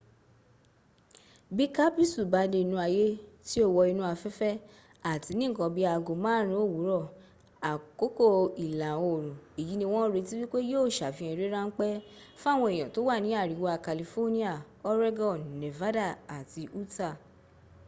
bí kápísù bá dé inú ayé tí ó wọ inú afẹ́fẹ́ àti ní ǹkan bi í aago márùn ún òwúrọ̀ àkókò ìlà òrùn èyí ni wọ́n ń retí wípé yíó sàfihàn eré ráńpẹ́ fáwọn èèyàn tó wà ní àríwá california oregon nevada àti utah